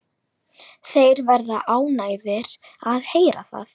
Þeir verða ánægðir að heyra það.